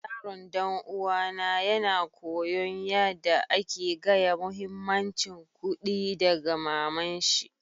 Yaron dan uwa na yana koyon yada ake gaya muhimmancin kuɗi daga mama'n shi.